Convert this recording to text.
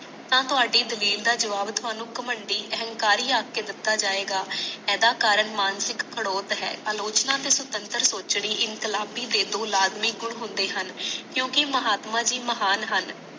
ਤਾ ਤੁਹਾਡੀ ਜਮੀਰ ਦਾ ਜਵਾਬ ਤੁਹਾਨੂੰ ਕਾਮਹਾੜੀ ਅਹੰਕਾਰੀ ਆਖ ਕੇ ਦਿਤਾ ਜਾਵੇਗਾ ਅਦਾ ਕਾਰਨ ਮਾਨਸਿਕ ਖੜੋਤ ਹੈ ਆਲੋਚਨਾ ਤੇ ਸੁਤਤਾਰ ਸੋਚਣੀ ਇਨਕਲਾਬੀ ਦੇ ਦੋ ਲਾਜਬੀ ਗੁਣ ਹੁੰਦੇ ਹਨ ਕਿਉਂਕਿ ਮਹਾਤਮਾ ਜੀ ਮਹਾਨ ਹਨ